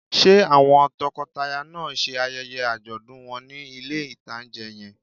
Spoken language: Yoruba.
Ṣé àwọn tọkọtaya náà ṣe ayẹyẹ àjọ̀dún wọn ní ilé-ìtánjẹ yẹn?